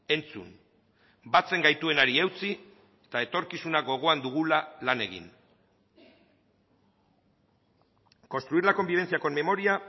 entzun batzen gaituenari eutsi eta etorkizuna gogoan dugula lan egin construir la convivencia con memoria